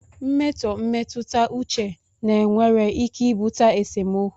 Mmetọ mmetụta uche na nwere ike ibute esemokwu